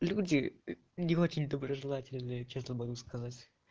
люди не очень доброжелательный честно могу сказать